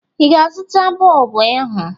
Ị ga-azụta bọlbụ ahụ?